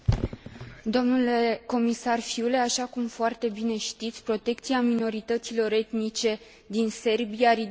Așa cum foarte bine știți, protecția minorităților etnice din Serbia ridică probleme deosebite.